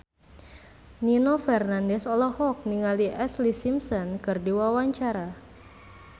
Nino Fernandez olohok ningali Ashlee Simpson keur diwawancara